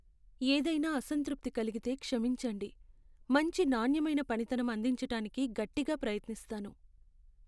ఏదైనా అసంతృప్తి కలిగితే క్షమించండి, మంచి నాణ్యమైన పనితనం అందించటానికి గట్టిగా ప్రయత్నిస్తాను.